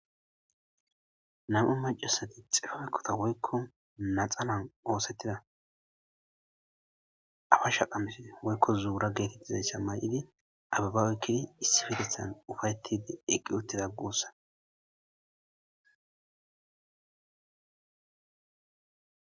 Nam,e macasati xifaykkota woykko naxanan oosettida afa shaqams woykko zuura geetettizasha may7idi abibaaweykkidi issi fidethan ufayetide eqqi uttida guussa.